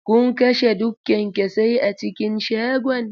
Kun kashe duk kyanksosai a cikin shagon?